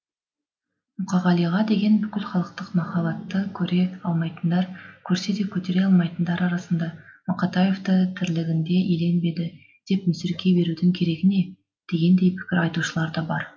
мұқағалиға деген бүкілхалықтық махаббатты көре алмайтындар көрсе де көтере алмайтындар арасында мақатаевты тірлігінде еленбеді деп мүсіркей берудің керегі не дегендей пікір айтушылар да бар